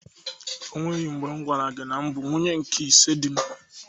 O nweghi mgbe m gwara gi na abụ m nwunye nke ise dị m.